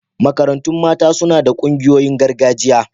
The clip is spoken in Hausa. Marantun mata suna da ƙungoyin gargajiya.